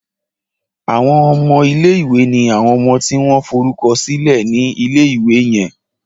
Àwon ọmọ ilé ìwé ní àwọn ọmọ tí wón forúkọsílè ní ilé ìwé yen